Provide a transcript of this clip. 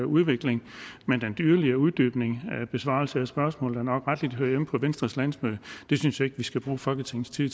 udvikling men en yderligere uddybning og besvarelse af spørgsmålet hører nok rettelig hjemme på venstres landsmøde det synes jeg ikke vi skal bruge folketingets tid